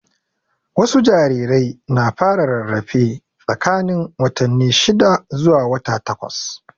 Wasu jarirai na fara rarafe tsakanin watanni shida zuwa wata takwas.